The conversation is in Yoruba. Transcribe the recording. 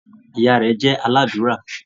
Ìyá rẹ jẹ́ aládùúrà.